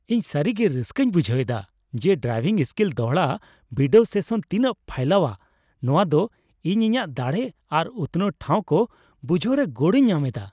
ᱤᱧ ᱥᱟᱹᱨᱤᱜᱮ ᱨᱟᱹᱥᱠᱟᱹᱧ ᱵᱷᱩᱸᱡᱟᱹᱣ ᱮᱫᱟ ᱡᱮ ᱰᱨᱟᱭᱵᱷᱤᱝ ᱥᱠᱤᱞ ᱫᱚᱲᱦᱟ ᱵᱤᱰᱟᱹᱣ ᱥᱮᱥᱚᱱ ᱛᱤᱱᱟᱹᱜ ᱯᱷᱟᱭᱞᱟᱣᱟ; ᱱᱚᱶᱟ ᱫᱚ ᱤᱧ ᱤᱧᱟᱹᱜ ᱫᱟᱲᱮ ᱟᱨ ᱩᱛᱱᱟᱹᱣ ᱴᱷᱟᱶ ᱠᱚ ᱵᱩᱡᱷᱟᱹᱣᱨᱮ ᱜᱚᱲᱚᱧ ᱧᱟᱢ ᱮᱫᱟ ᱾